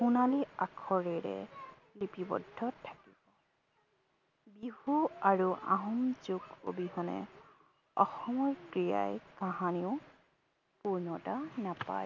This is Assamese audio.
সোণালী আখৰেৰে লিপিবদ্ধ থাকিব। বিহু আৰু আহোম যুগ অবিহনে অসমৰ ক্ৰীড়াই কাহানিও পূৰ্ণতা নাপায়।